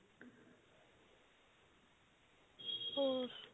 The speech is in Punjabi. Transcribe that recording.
ਹੋਰ